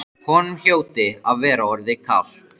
Honum hljóti að vera orðið kalt.